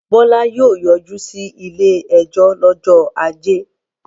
Bọ́lá yóò yọjú sí ilé-ẹjọ́ lọ́jọ́ ajé.